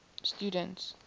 students